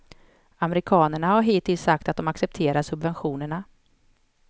Amerikanerna har hittills sagt att de accepterar subventionerna.